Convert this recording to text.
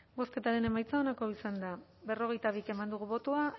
bozketaren emaitza onako izan da berrogeita bi eman dugu bozka